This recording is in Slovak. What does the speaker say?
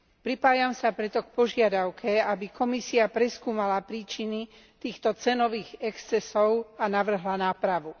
Pripájam sa preto k požiadavke, aby Komisia preskúmala príčiny týchto cenových excesov a navrhla nápravu.